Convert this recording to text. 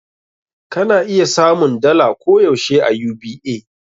Ka na iya samun dala koh yaushe a UBA.